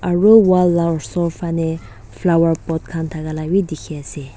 aru wall la osor phane flower pot khan thakala wi dikhi ase.